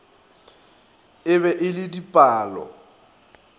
e be e le dipalo